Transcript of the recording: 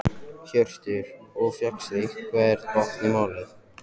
Hjörtur: Og fékkstu einhvern botn í málið?